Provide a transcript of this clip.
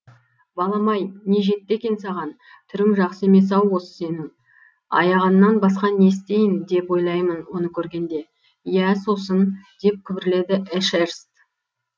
балам ай не жетті екен саған түрің жақсы емес ау осы сенің аяғаннан басқа не істейін деп ойлаймын оны көргенде иә сосын деп күбірледі эшерст